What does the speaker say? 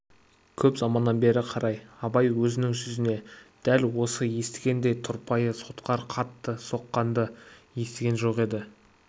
көп заманнан бері қарай абай өзінің жүзіне дәл осы естігендей тұрпайы сотқар қатты соққанды естіген жоқ еді